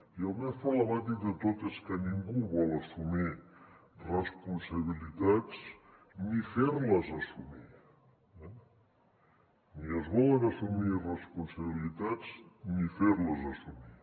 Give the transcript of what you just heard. i el més problemàtic de tot és que ningú vol assumir responsabilitats ni fer les assumir eh ni es volen assumir responsabilitats ni fer les assumir